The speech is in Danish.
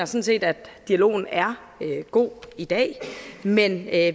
set at dialogen er god i dag men at